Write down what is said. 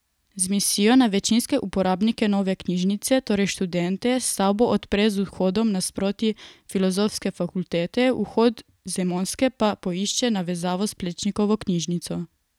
Z mislijo na večinske uporabnike nove knjižnice, torej študente, stavbo odpre z vhodom nasproti Filozofske fakultete, vhod z Emonske pa poišče navezavo s Plečnikovo knjižnico.